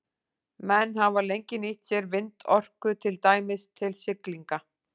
Menn hafa lengi nýtt sér vindorku, til dæmis til siglinga.